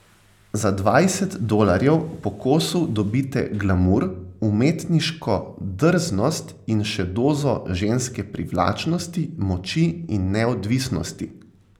Za dvajset dolarjev po kosu dobite glamur, umetniško drznost in še dozo ženske privlačnosti, moči in neodvisnosti.